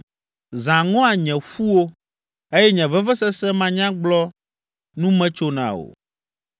Zã ŋɔa nye ƒuwo eye nye vevesese manyagblɔ nu metsona o.